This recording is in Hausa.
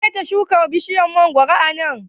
waya shuka bishiyar mangwaro a nan?